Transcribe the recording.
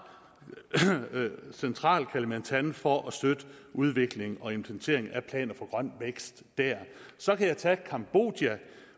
central kalimantan for at støtte udvikling og implementering af planer for grøn vækst dér så kan jeg tage cambodja